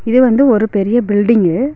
இது வந்து ஒரு பெரிய பில்டிங்கு .